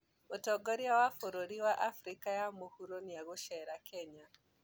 Mũtongoria wa bũrũri wa Afrika ya mũhuro nĩegũcera Kenya.